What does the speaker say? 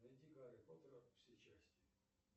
найди гарри поттера все части